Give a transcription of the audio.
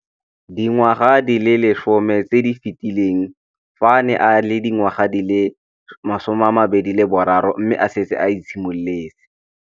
Dingwaga di le 10 tse di fetileng, fa a ne a le dingwaga di le 23 mme a setse a itshimoletse.